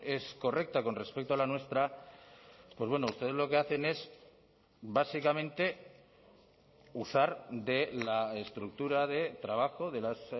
es correcta con respecto a la nuestra pues bueno ustedes lo que hacen es básicamente usar de la estructura de trabajo de las